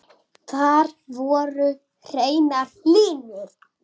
Þar voru hreinar línur.